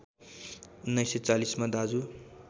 १९४० मा दाजु